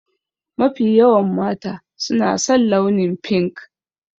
Mafi yawan mata su na san launin fink.